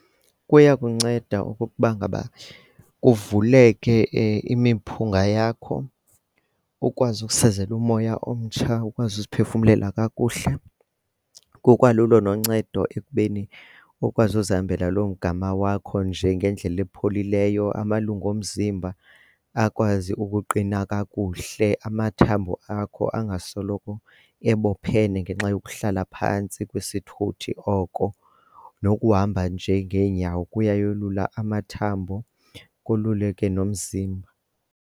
Kuyakunceda okokuba ngaba kuvuleke imiphunga yakho ukwazi ukusezela umoya omtsha ukwazi ukuziphefumlela kakuhle kukwalulo noncedo ekubeni ukwazi uzihambela loo mgama wakho nje ngendlela epholileyo amalungu omzimba akwazi ukuqina kakuhle, amathambo akho angasoloko ebophene ngenxa yokuhlala phantsi kwisithuthi oko nokuhamba nje ngeenyawo kuya yolula amathambo koluleke nomzimba.